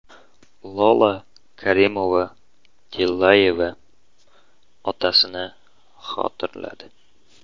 Lola Karimova-Tillayeva otasini xotirladi.